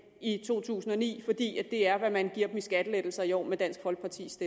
i to tusind og ni for det er hvad man giver dem i skattelettelser i år med dansk folkepartis